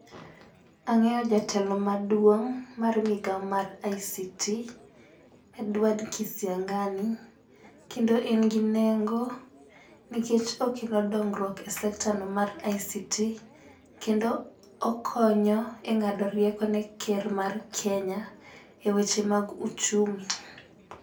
Ang'eyo jatelo maduong' mar migawo mar ICT Edward kisiang'ani kendo en gi nengo nikech okelo dongruok e sector no mar ICT kendo okonyo e ng'ado rieko ne ker mar kenya e weche mag uchumi.